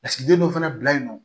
Lasigiden dɔ fana bila yen nɔ